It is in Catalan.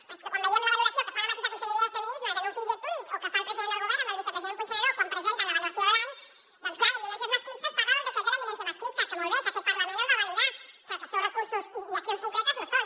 però és que quan veiem la valoració que fa la mateixa conselleria de feminismes en un fil de twitter o que fa el president del govern amb el vicepresident puigneró quan presenten l’avaluació de l’any doncs clar de violències masclistes parla del decret de la violència masclista que molt bé que aquest parlament el va validar però que això recursos i accions concretes no ho són